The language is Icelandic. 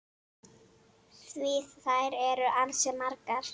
Því þær eru ansi margar.